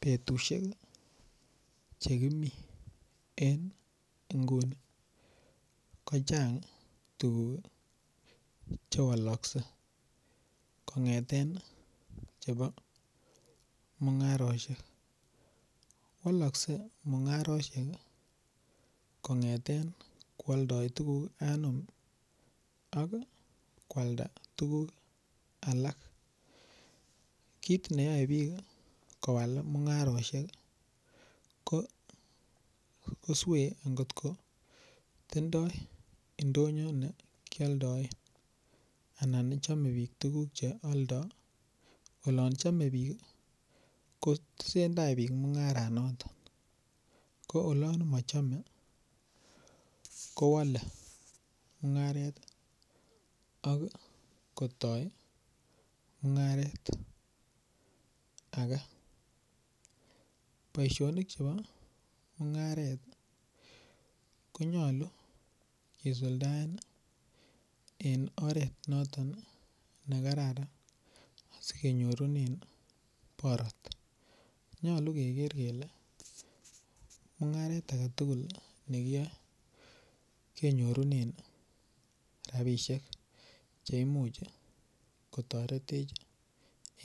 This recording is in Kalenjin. Betushek chekimi en inguni kochang tuguk chewolokse kongeten chebo mungaroshek, wolokse mungaroshek kongeten kwoldoi tuguk anum ak kwalda tuguk alak kit newole bik kowal mungaroshek koswe kot kotindo indonyo nekioldoen anan ii chome bik tuguk cheoldo olon chome bik kotesendaa bik mungaranoton ko olon mochome kowole mungaret ok kotoi mungaret ake boishonik chebo mungaret konyolu kosuldaen en oret noton nekararan asikenyorunen borot, nyolu keker kele mungaret aketugul nekiyoe konyolu keker kele mungaret aketugul nekiyoe kenyorunen rabishek cheimuch kotoretech